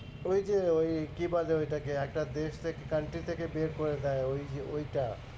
ওই যে ওই কি বলে ঐটাকে? একটা দেশ থেকে country থেকে বের করে দেয় ওই যে ওইটা।